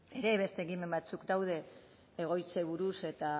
ere beste ekimen batzuk daude egoitzei buruz eta